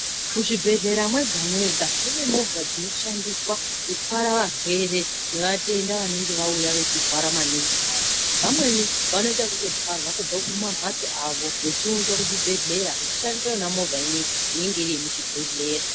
Muzvibhehlera mwonga mwonga mune movha dzinoshandiswa kutwara varwere nevatenda vanenge vauya veirwara maningi vaya vamweni vanotoite twarwa kubva kumambatso avo vechiunza kuzvibhehleya vechishandisa yona movha imei inenge iri yemuchibhehleya.